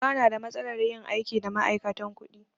Ba na da matsalar yin aiki da ma'aikatan kuɗi.